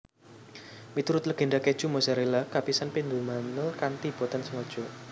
Miturut legenda kèju Mozzarella kapisan dipundamel kanthi boten sengaja